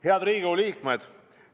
Head Riigikogu liikmed!